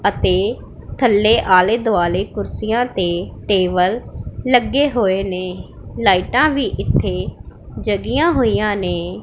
ਅਤੇ ਥੱਲੇ ਆਲ਼ੇ ਦੁਆਲੇ ਕੁਰਸੀਆਂ ਤੇ ਟੇਬਲ ਲੱਗੇ ਹੋਏ ਨੇਂ ਲਾਈਟਾਂ ਵੀ ਇੱਥੇ ਜਗਿਆਂ ਹੋਈਆਂ ਨੇਂ।